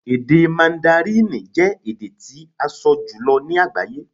Èdè Màndárínì jẹ́ èdè tí a sọ jùlọ ní agbaye